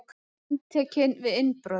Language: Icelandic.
Handtekinn við innbrot